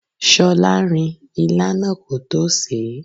ṣolarin ilá náà kótó sèé.